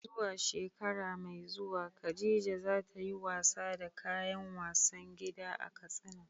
Zuwa shekara mai zuwa Khadija za ta yi wasa da kayan wasan gida a Katsina.